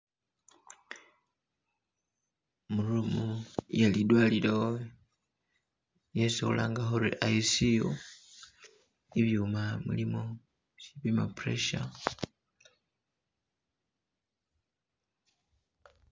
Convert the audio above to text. Mu room iye lidwalilo yesi khulanga khuli ICU, ibyuma mulimo isipima pressure